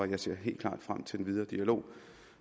jeg ser helt klart frem til den videre dialog